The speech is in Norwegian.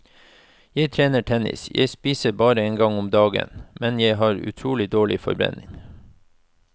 Jeg trener tennis, jeg spiser bare en gang om dagen, men jeg har utrolig dårlig forbrenning.